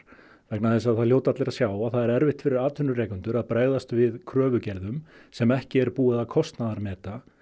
vegna þess að það hljóta allir að sjá að það er erfitt fyrir atvinnurekendur að bregðast við kröfugerðum sem ekki er búið að kostnaðarmeta